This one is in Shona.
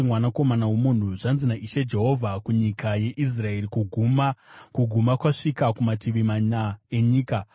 “Mwanakomana womunhu, zvanzi naIshe Jehovha kunyika yeIsraeri: Kuguma! Kuguma kwasvika kumativi mana enyika.